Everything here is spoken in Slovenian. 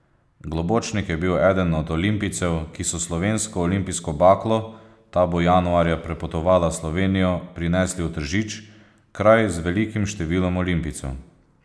Globočnik je bil eden od olimpijcev, ki so slovensko olimpijsko baklo, ta bo januarja prepotovala Slovenijo, prinesli v Tržič, kraj z velikim številom olimpijcev.